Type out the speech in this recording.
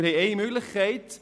Wir haben eine Möglichkeit: